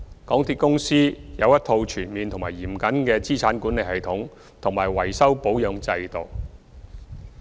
港鐵公司有一套全面及嚴謹的資產管理系統及維修保養制度。